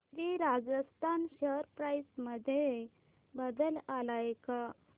Shri Rajasthan share price मध्ये बदल आलाय का